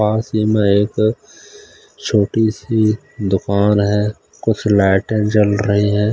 पास ही मे एक छोटी-सी दुकान है कुछ लाइटें जल रही हैं।